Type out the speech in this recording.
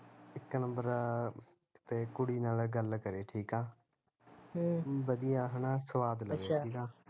ਇੱਕ number ਤੇ ਕੁੜੀ ਨਾਲ਼ ਗੱਲ ਕਰੇ ਠੀਕ ਆ ਹਮ ਵਧੀਆ ਹੈਨਾ ਸਵਾਦ ਲਵੇ